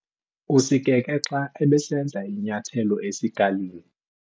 Usikeke xa ebesenza inyathelo esikalini.